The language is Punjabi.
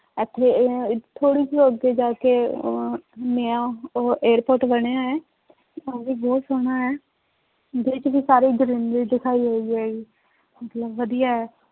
ਇੱਥੇ ਥੋੜ੍ਹੀ ਜਿਹੀ ਅੱਗੇ ਜਾ ਕੇ ਅਹ ਨਇਆਂ ਅਹ airport ਬਣਿਆ ਹੈ ਉਹ ਵੀ ਬਹੁਤ ਸੋਹਣਾ ਹੈ, ਉਹਦੇ ਵਿੱਚ ਵੀ ਸਾਰੀ greenery ਦਿਖਾਈ ਹੋਈ ਹੈ ਮਤਲਬ ਵਧੀਆ ਹੈ।